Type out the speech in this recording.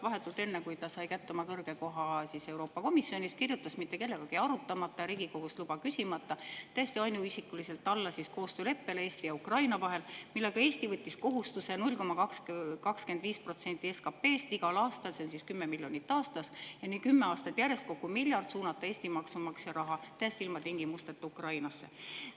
Vahetult enne seda, kui Kaja Kallas sai kätte oma kõrge koha Euroopa Komisjonis, kirjutas ta mitte kellegagi arutamata ja Riigikogust luba küsimata täiesti ainuisikuliselt alla koostööleppele Eesti ja Ukraina vahel, millega Eesti võttis kohustuse igal aastal 0,25% SKP‑st – see on siis miljonit aastas ja nii kümme aastat järjest, kokku miljard Eesti maksumaksja raha – suunata täiesti ilma tingimusteta Ukrainasse.